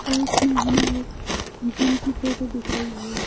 पास में हमें एक जिम की फोटो दिख रही है।